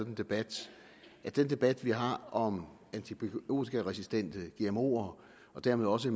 en debat at den debat vi har om antibiotikaresistente gmoer og dermed også